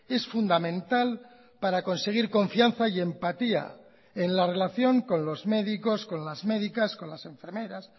es fundamental para conseguir confianza y empatía en la relación con los médicos con las médicas con las enfermeras